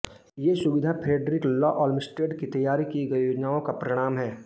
ये सुविधाएँ Frederick Law Olmsted की तैयार की गई योजनाओं का परिणाम है